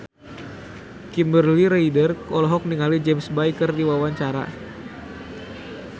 Kimberly Ryder olohok ningali James Bay keur diwawancara